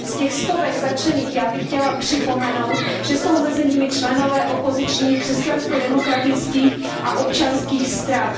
Z těch stovek zatčených bych chtěla připomenout, že jsou mezi nimi členové opozičních křesťansko demokratických a občanských stran.